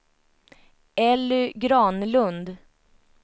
Elly Granlund